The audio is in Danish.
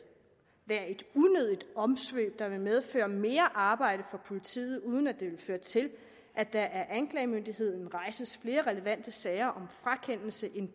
unødigt omsvøb der vil medføre mere arbejde for politiet uden at det vil føre til at der af anklagemyndigheden rejses flere relevante sager om frakendelse end